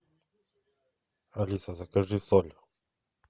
алиса закажи соль